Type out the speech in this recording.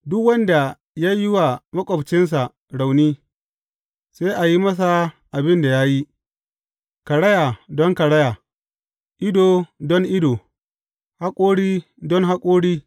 Duk wanda ya yi wa maƙwabcinsa rauni, sai a yi masa abin da ya yi; karaya don karaya, ido don ido, haƙori don haƙori.